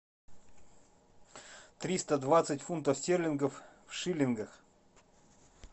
триста двадцать фунтов стерлингов в шиллингах